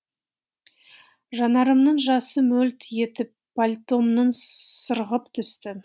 жанарымның жасы мөлт етіп пальтомнан сырғып түсті